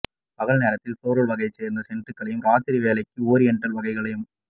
பகல் நேரத்தில் ஃப்ளோரல் வகையைச் சேர்ந்த சென்ட்டுகளையும் ராத்திரி வேளைகளுக்கு ஓரியன்ட்டல் வகைகளையும்